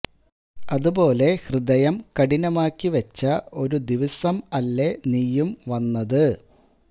അതുപോലെ ഹൃദയം കഠിനമാക്കി വച്ച ഒരു ദിവസം അല്ലേ നീയും വന്നത്